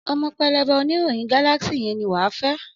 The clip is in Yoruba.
Ọmọ pẹlẹbẹ oníròyìn Galaxy yẹn ni wà á fẹ́.